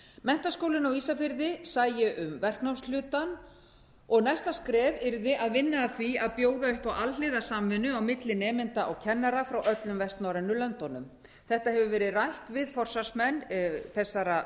menntaskólinn á ísafirði sæi um verknámshlutann og næsta skref yrði að vinna að því að bjóða upp á alhliða samvinnu á milli nemenda og kennara frá öllum vestnorrænu löndunum þetta hefur verið rætt við forsvarsmenn þessara